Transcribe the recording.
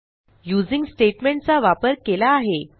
using statement चा वापर केला आहे